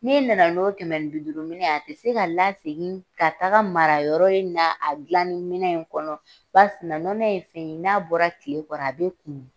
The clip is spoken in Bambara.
N'e nana n'o kɛmɛ ni bi duuru minɛn ye a tɛ se ka la segin ka taga mara yɔrɔ in na a gilani minɛn in kɔnɔ ba sina nɔnɔ ye fɛn ye n'a bɔra kile kɔrɔ a be kumu.